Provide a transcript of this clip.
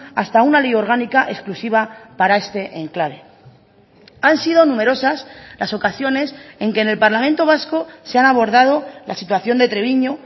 hasta una ley orgánica exclusiva para este enclave han sido numerosas las ocasiones en que en el parlamento vasco se han abordado la situación de treviño